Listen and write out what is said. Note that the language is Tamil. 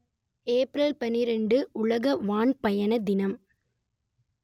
ஏப்ரல் பன்னிரண்டு உலக வான் பயண தினம்